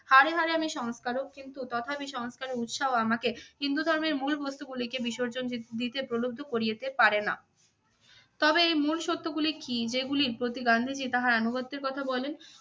হাড়ে হাড়ে আমি সংস্কারক কিন্তু তথাপি সংস্কারের উৎসাহ আমাকে হিন্দু ধর্মের মূল বস্তুগুলিকে বিসর্জন দি~ দিতে প্রলুব্ধ করিয়েতে পারেনা। তবে এই মূল সত্য গুলি কী যেগুলি প্রতি গান্ধীজী তাহার আনুগত্যের কথা বলেন?